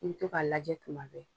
I bi to ka lajɛ tuma bɛɛ.